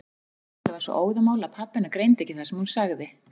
Kamilla var svo óðamála að pabbi hennar greindi ekki það sem hún sagði.